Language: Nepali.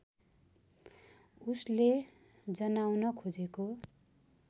उसले जनाउन खोजेको